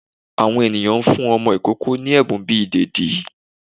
Àwọn eníyan n fún ọmọ ìkoko ní ebún bí idedi